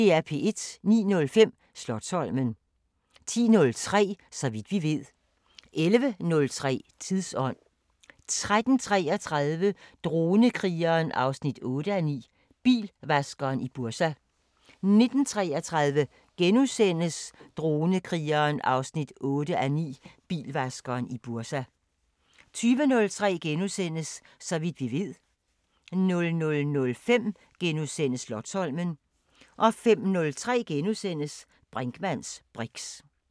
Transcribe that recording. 09:05: Slotsholmen 10:03: Så vidt vi ved 11:03: Tidsånd 13:33: Dronekrigeren 8:9 – Bilvaskeren i Bursa 19:33: Dronekrigeren 8:9 – Bilvaskeren i Bursa * 20:03: Så vidt vi ved * 00:05: Slotsholmen * 05:03: Brinkmanns briks *